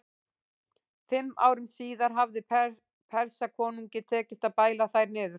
Fimm árum síðar hafði Persakonungi tekist að bæla þær niður.